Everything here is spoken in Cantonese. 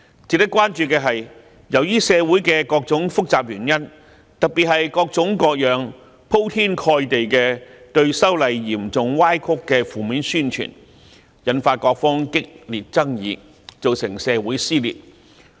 值得關注的是，由於社會的各種複雜原因，特別是各種各樣、鋪天蓋地對修例嚴重歪曲的負面宣傳，引發各方激烈爭議，造成社會撕裂。